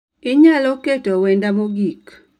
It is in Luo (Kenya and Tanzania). Inyalo keto wenda mogik